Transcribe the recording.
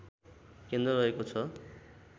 केन्द्र रहेको छ